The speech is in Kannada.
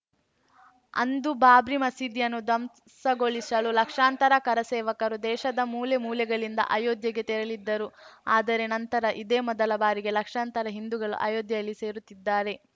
ಅಂದು ಬಾಬ್ರಿ ಮಸೀದಿಯನ್ನು ಧ್ವಂಸಗೊಳಿಸಲು ಲಕ್ಷಾಂತರ ಕರಸೇವಕರು ದೇಶದ ಮೂಲೆ ಮೂಲೆಗಳಿಂದ ಅಯೋಧ್ಯೆಗೆ ತೆರಳಿದ್ದರು ಅದರೆ ನಂತರ ಇದೇ ಮೊದಲ ಬಾರಿಗೆ ಲಕ್ಷಾಂತರ ಹಿಂದೂಗಳು ಅಯೋಧ್ಯೆಯಲ್ಲಿ ಸೇರುತ್ತಿದ್ದಾರೆ